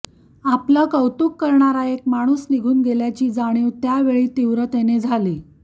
आपलं कौतुक करणारा एक माणूस निघून गेल्याची जाणीव त्या वेळी तीव्रतेनं झाली